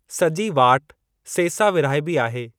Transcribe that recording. सॼी वाट सेसा विरहाइबी आहे।